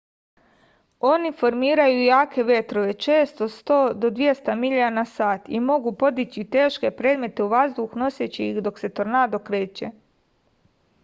они формирају јаке ветрове често 100-200 миља/сат и могу подићи тешке предмете у ваздух носећи их док се торнадо креће